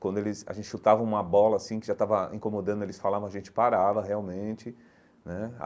Quando eles a gente chutava uma bola assim, que já estava incomodando, eles falavam, a gente parava realmente né.